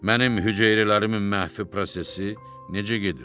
Mənim hüceyrələrimin məhfi prosesi necə gedir?